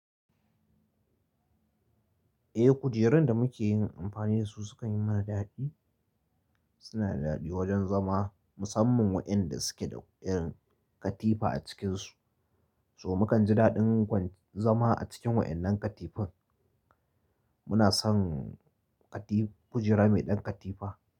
Eh kujerun da muke yin amfani da su sukan yi mana daɗi, suna da daɗi wajen zama musamman waɗanda suke da irin katifa a cikinsu. So mukan ji daɗin kwan zama a cikin waɗannan katifun. Muna son kati kujera mai ɗan katifa.